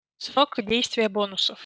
срок действия бонусов